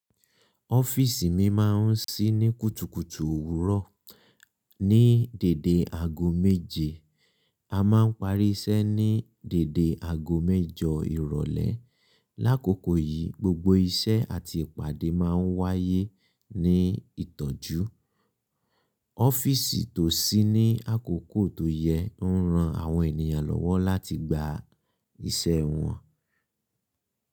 Ọ́fíísì mi máa ń ṣí ní kùtùkùtù òwúrọ̀ ní dède ago méje. A máa ń parí iṣẹ́ ní dède ago mẹ́jọ ìrọ̀lẹ́. Lákokò yìí, gbogbo iṣẹ́ àti ìpàdé máa ń wáyé ní ìtọ́jú. Ọ́fíísì tó ṣí ní àkókò tó yẹ ń ran àwọn ènìyàn lọ́wọ́ láti gba iṣẹ́ wọn.